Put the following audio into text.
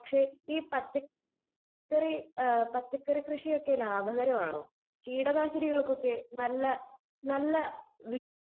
speaker 2 പക്ഷെ ഈ പച്ചക്കറി കൃഷിയൊക്കെ ലാഭകരമാണോ കീടനാശിനികൾക്കോ നല്ല നല്ല